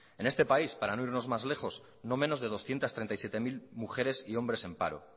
en este país para no irnos más lejos no menos de doscientos treinta y siete mil mujeres y hombres en paro